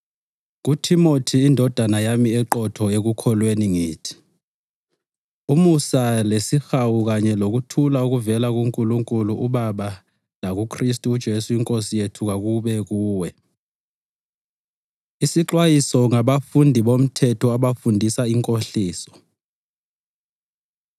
KuThimothi indodana yami eqotho ekukholweni ngithi: Umusa lesihawu kanye lokuthula okuvela kuNkulunkulu uBaba lakuKhristu uJesu iNkosi yethu kakube kuwe. Isixwayiso Ngabafundisi Bomthetho Abafundisa Inkohliso